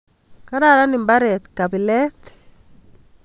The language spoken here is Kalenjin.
Kararan ibaret kabilet